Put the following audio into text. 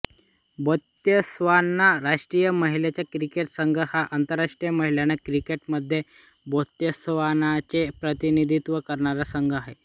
Botswana राष्ट्रीय महिला cricket संघ हा आंतरराष्ट्रीय महिला क्रिकेटमध्ये बोत्स्वानाचे प्रतिनिधित्व करणारा संघ आहे